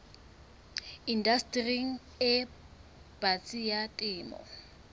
indastering e batsi ya temo